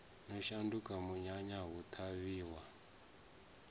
no shanduka munyanya hu ṱhavhiwa